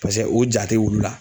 paseke u ja tɛ wulu la.